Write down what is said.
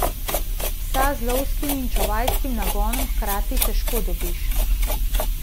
Psa z lovskim in čuvajskim nagonom hkrati težko dobiš.